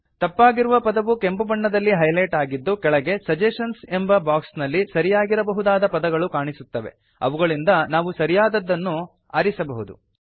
ತಪ್ಪಾಗಿರುವ ಪದವು ಕೆಂಪು ಬಣ್ಣದಲ್ಲಿ ಹೈಲೆಟ್ ಆಗಿದ್ದು ಕೆಳಗೆ ಸಜೆಷನ್ಸ್ ಎಂಬ ಬಾಕ್ಸ್ ನಲ್ಲಿ ಸರಿಯಾಗಿರಬಹುದಾದ ಪದಗಳು ಕಾಣಿಸುತ್ತವೆ ಅವುಗಳಿಂದ ನಾವು ಸರಿಯಾದದ್ದನ್ನು ನಾವು ಆರಿಸಬಹುದು